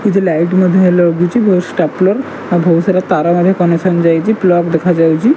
କିଛି ଲାଇଟ ମଧ୍ୟ ହେଲୋ ବହୁତ ଷ୍ଟାପଲର ଆଉ ବହୁତ ସାରା ତାର ମଧ୍ୟ କନେକ୍ସନ ଯାଇଚି ଫ୍ଲଗ ଦେଖାଯାଉଚି ।